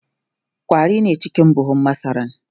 ƙwari ne cike da buhun masaran